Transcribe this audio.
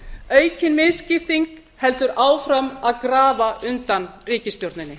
aukin misskipting heldur áfram að grafa undan ríkisstjórninni